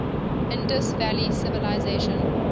indus valley civilization